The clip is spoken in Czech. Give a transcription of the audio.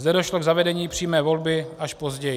Zde došlo k zavedení přímé volby až později.